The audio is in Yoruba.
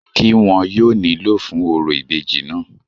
kí wọn yóò nílò fún orò ìbejì náà?